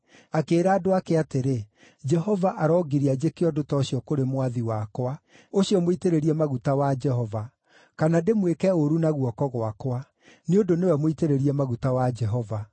Akĩĩra andũ ake atĩrĩ, “Jehova arongiria njĩke ũndũ ta ũcio kũrĩ mwathi wakwa, ũcio mũitĩrĩrie maguta wa Jehova, kana ndĩmwĩke ũũru na guoko gwakwa; nĩ ũndũ nĩwe mũitĩrĩrie maguta wa Jehova.”